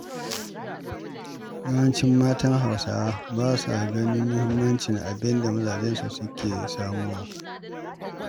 Yawancin matan Hausawa ba sa ganin muhimmancin abinda mazajensu suke samowa ba.